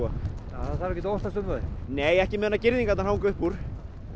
það þarf ekkert að óttast um þau nei ekki á meðan girðingarnar hanga upp úr